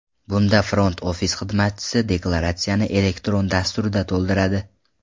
Bunda front-ofis xizmatchisi deklaratsiyani elektron dasturda to‘ldiradi.